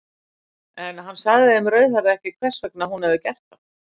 En hann sagði þeim rauðhærða ekki hvers vegna hún hefði gert það.